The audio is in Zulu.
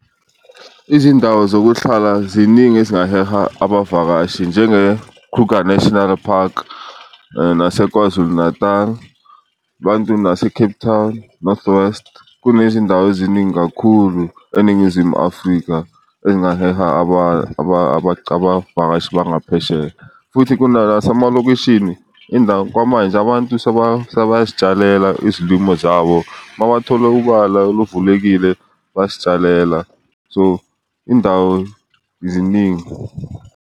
Izindawo zokuhlala ziningi ezingaheha abavakashi njenge-Kruger National Park nase eKwaZulu-Natal, bantu nase-Cape Town, North West kunezindawo eziningi kakhulu eNingizimu Afrika engaheha abavakashi bangaphesheya. Futhi kuna nasemalokishini indawo kwamanje abantu sebayazitshalela izilimo zabo mabathole ubala oluvulekile bazitshalela, so indawo ziningi.